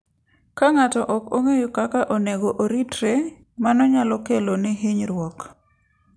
Ka ng'ato ok ong'eyo kaka onego oritre, mano nyalo kelone hinyruok.